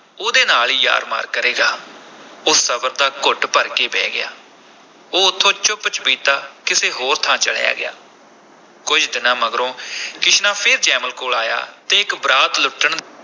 ਉਹਦੇ ਨਾਲ ਹੀ ਯਾਰ ਮਾਰ ਕਰੇਗਾ, ਉਹ ਸਬਰ ਦਾ ਘੁੱਟ ਭਰ ਕੇ ਬਹਿ ਗਿਆ, ਉਹ ਉਥੋਂ ਚੁੱਪ-ਚੁਪੀਤਾ ਕਿਸੇ ਹੋਰ ਥਾਂ ਚਲਿਆ ਗਿਆ, ਕੁਝ ਦਿਨਾਂ ਮਗਰੋਂ ਕਿਸ਼ਨਾ ਫੇਰ ਜੈਮਲ ਕੋਲ ਆਇਆ ਤੇ ਇਕ ਬਰਾਤ ਲੁੱਟਣ